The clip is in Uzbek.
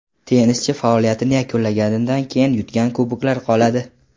Tennischi faoliyatini yakunlaganidan keyin u yutgan kuboklar qoladi.